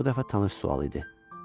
Bu dəfə tanış sual idi.